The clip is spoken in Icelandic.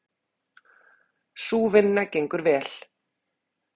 Sú vinna gengur vel.